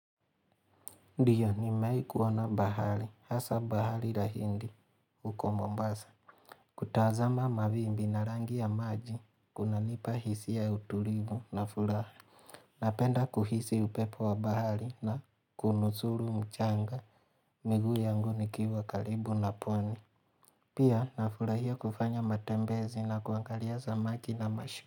Ndio nimewahi kuona bahari, hasa bahari la hindi, huko mombasa. Kutazama mawimbi na rangi ya maji, kunanipa hisia ya utulivu na furaha. Napenda kuhisi upepo wa bahari na kuunusuru mchanga, miguu yangu nikiwa karibu na pwani. Pia na furahia kufanya matembezi na kuangalia samaki na mashu.